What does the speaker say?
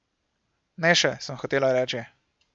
Ne še, sem hotela reči.